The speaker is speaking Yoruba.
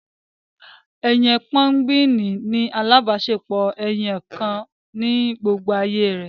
Ẹyẹ pẹ́ngúìnì ní alábáṣepọ ẹyọkan ní gbógbó àyè re.